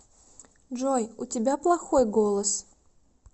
джой у тебя плохой голос